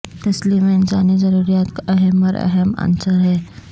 تسلیم انسانی ضروریات کا اہم اور اہم عنصر ہے